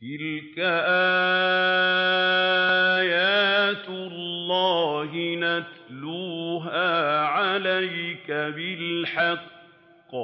تِلْكَ آيَاتُ اللَّهِ نَتْلُوهَا عَلَيْكَ بِالْحَقِّ ۚ